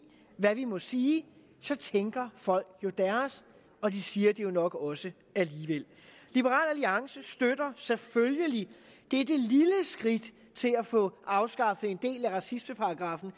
hvad vi må sige så tænker folk jo deres og de siger det jo nok også alligevel liberal alliance støtter selvfølgelig dette lille skridt til at få afskaffet en del af racismeparagraffen